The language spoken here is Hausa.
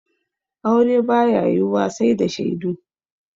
Aure ba ya yiwuwa sai da shaidu.